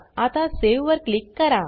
आता सावे वर क्लिक करा